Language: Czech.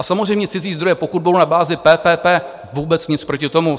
A samozřejmě, cizí zdroje, pokud budou na bázi PPP - vůbec nic proti tomu.